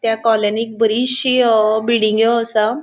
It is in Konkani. त्या कॉलनीत बरीचशी बिल्डिंग्यो असा.